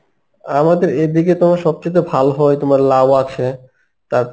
আমাদের এদিকে তোমার সব চাইতে ভালো হয় তোমার লাউ আছে তারপর